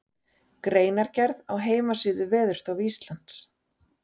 Greinargerð á heimasíðu Veðurstofu Íslands.